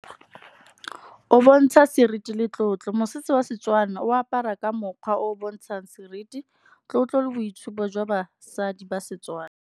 O bontsha seriti le tlotlo mosese wa setswana, o apara ka mokgwa o o bontshang seriti, tlotlo le boitshupo jwa basadi ba Setswana.